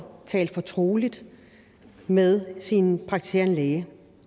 talt fortroligt med sin praktiserende læge